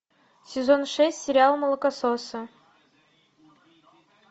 сезон шесть сериал молокососы